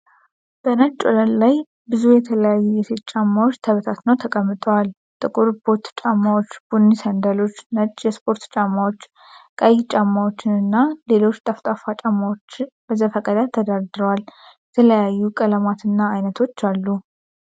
በነጭ ወለል ላይ ብዙ የተለያዩ የሴት ጫማዎች ተበታትነው ተቀምጠዋል። ጥቁር ቦት ጫማዎች፣ ቡኒ ሰንደሎች፣ ነጭ የስፖርት ጫማዎች፣ ቀይ ጫማዎችና ሌሎች ጠፍጣፋ ጫማዎች በዘፈቀደ ተደርድረዋል። የተለያዩ ቀለማትና አይነቶች አሉ።